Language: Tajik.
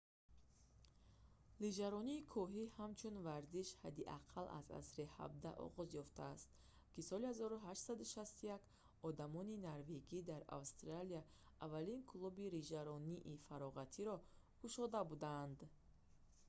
лижаронии кӯҳӣ ҳамчун варзиш ҳадди ақал аз асри 17 оғоз ёфтааст ва соли 1861 одамони норвегӣ дар австралия аввалин клуби лижаронии фароғатиро кушода буданд